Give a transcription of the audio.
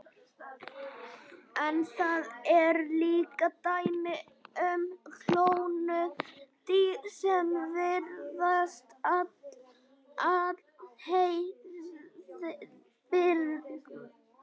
En það eru líka dæmi um klónuð dýr sem virðast alheilbrigð.